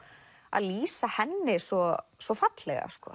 að lýsa henni svo svo fallega